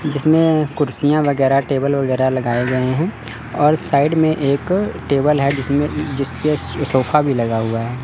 जिसमें कुर्सियां वगैरह टेबल वगैरह लगाए गए हैं और साइड में एक टेबल है जिस में जिस पे सोफा भी लगा हुआ है।